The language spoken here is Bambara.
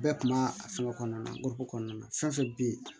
Bɛɛ kun b'a a fɛngɛ kɔnɔna na nkɔ kɔnɔna na fɛn fɛn bɛ yen